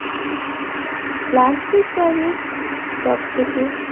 plastic ব্যাগের সবথেকে